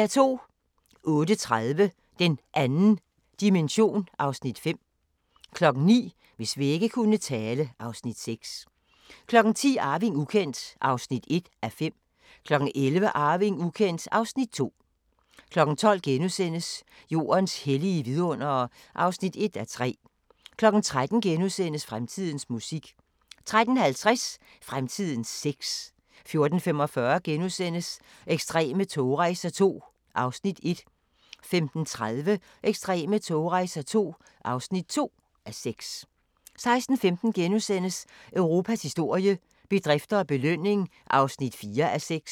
08:30: Den 2. dimension (Afs. 5) 09:00: Hvis vægge kunne tale (Afs. 6) 10:00: Arving ukendt (1:5) 11:00: Arving ukendt (Afs. 2) 12:00: Jordens hellige vidundere (1:3)* 13:00: Fremtidens musik * 13:50: Fremtidens sex 14:45: Ekstreme togrejser II (1:6)* 15:30: Ekstreme togrejser II (2:6) 16:15: Europas historie – bedrifter og belønning (4:6)*